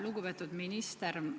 Lugupeetud minister!